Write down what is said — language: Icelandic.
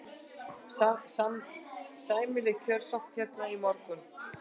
Sæmileg kjörsókn hérna í morgun?